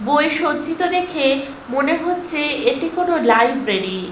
বই সজ্জিত দেখে মনে হচ্ছে এটি কোনো লাইব্রেরি ।